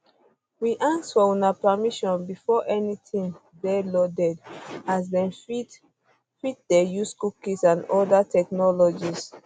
we ask for una permission before anytin dey loaded as dem fit fit dey use cookies and oda technologies